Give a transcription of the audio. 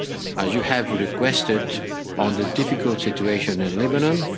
focus, as you have requested, on the difficult situation in Lebanon.